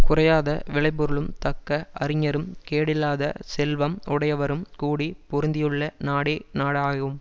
குறையாத விளைபொருளும் தக்க அறிஞரும் கேடில்லாத செல்வம் உடையவரும் கூடி பொருந்தியுள்ள நாடே நாடாகும்